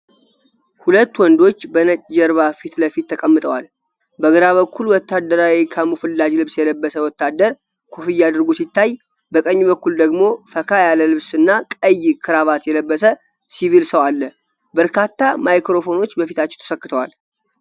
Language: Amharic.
ሁለት ወንዶች በነጭ ጀርባ ፊት ለፊት ተቀምጠዋል። በግራ በኩል ወታደራዊ ካሙፍላጅ ልብስ የለበሰ ወታደር ኮፍያ አድርጎ ሲታይ፣ በቀኝ በኩል ደግሞ ፈካ ያለ ልብስ እና ቀይ ክራቫት የለበሰ ሲቪል ሰው አለ። በርካታ ማይክሮፎኖች በፊታቸው ተሰክተዋል።